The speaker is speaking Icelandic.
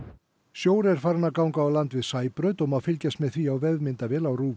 sjór er farinn að ganga á land við Sæbraut og má fylgjast með því á vefmyndavél á